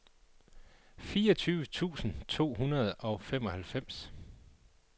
fireogtyve tusind to hundrede og femoghalvfems